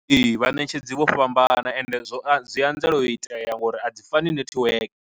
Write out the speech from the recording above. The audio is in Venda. Ee vhanetshedzi vho fhambana ende zwo a zwi anzela u itea ngori a dzi fani netiweke.